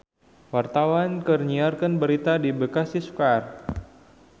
Wartawan keur nyiar berita di Bekasi Square